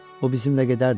O bizimlə gedərdi.